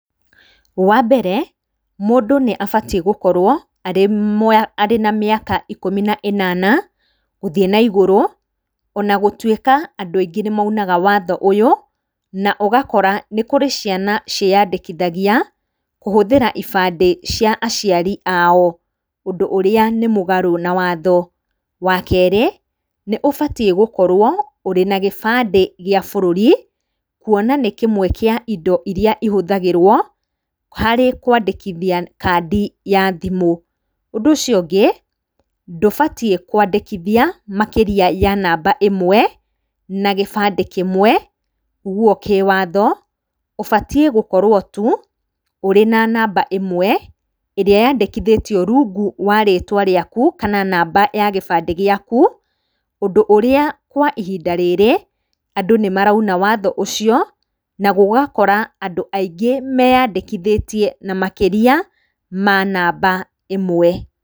Wa mbere, mũndũ nĩ abatiĩ gũkorwo arĩ na mĩaka ikũmi na ĩnana gũthiĩ na igũrũ, ona gũtuĩka andũ aingĩ nĩ maunaga watho ũyũ, na ũgakora nĩ kũrĩ ciana cĩĩyandĩkithagia kũhũthĩra ibandĩ cia aciari ao, ũndũ ũrĩa nĩ mũgarũ na watho. Wa kerĩ, nĩ ũbatiĩ gũkorwo ũrĩ na gĩbandĩ gĩa bũrũri, kuona nĩ kĩmwe kĩa indo iria ihũthagĩrwo harĩ kũandĩkithia kadi ya thimũ. Ũndũ ũcio ũngĩ, ndũbatiĩ kũandĩkithia makĩria ya namba ĩmwe na gĩbandĩ kĩmwe nĩ guo kĩwatho, ũbatiĩ gũkorwo tu, ũrĩ na namba ĩmwe, ĩrĩa yandĩkithĩtio rungu wa rĩtwa rĩaku kana namba ya gĩbandĩ gĩaku, ũndũ ũrĩa kwa ihinda rĩrĩ, andũ nĩ marauna watho ucio, na gũgakora andũ aingĩ meyandĩkithĩtie na makĩria ma namba ĩmwe.